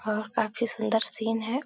और काफी सुंदर सीन है।